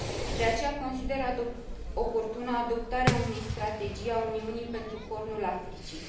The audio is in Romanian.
De aceea, consider oportună adoptarea unei strategii a Uniunii pentru Cornul Africii.